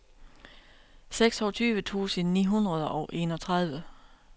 seksogtyve tusind ni hundrede og enogtredive